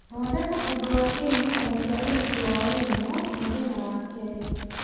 thondeka ũndũ wa kĩririkano kĩa ũhiki wa wairimũ muthenya wa kerĩ